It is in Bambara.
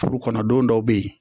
Furu kɔnɔ don dɔw be ye